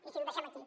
i ho deixem aquí